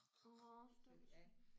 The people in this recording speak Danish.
Orh stakkels hund